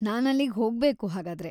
ನಾನಲ್ಲಿಗ್‌ ಹೋಗ್ಬೇಕು ಹಾಗಾದ್ರೆ.